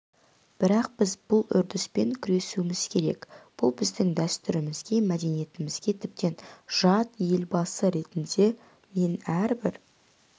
бірақ біз бұл үрдіспен күресуіміз керек бұл біздің дәстүрімізге мәдениетімізге тіптен жат елбасы ретінде мен әрбір